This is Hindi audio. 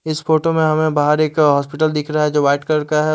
इस फोटो में हमें बाहार एक हॉस्पिटल दिख रहा है जो वाइट कलर का है ।